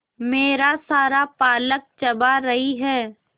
मेरा सारा पालक चबा रही है